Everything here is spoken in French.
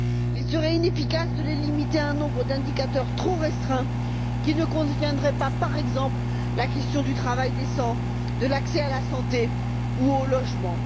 Il serait inefficace de les limiter à un nombre d'indicateurs trop restreint qui ne couvrirait pas, par exemple, la question du travail décent, de l'accès à la santé ou au logement.